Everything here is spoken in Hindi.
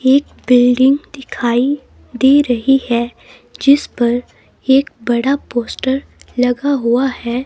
एक बिल्डिंग दिखाई दे रही है जिस पर एक बड़ा पोस्टर लगा हुआ है.